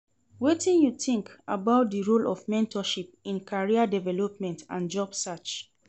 Wetin you think about di role of mentorship in career development and job search?